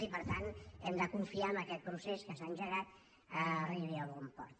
i per tant hem de confiar que aquest procés que s’ha engegat arribi a bon port